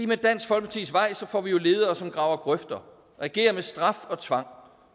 med dansk folkepartis vej får vi jo ledere som graver grøfter regerer med straf og tvang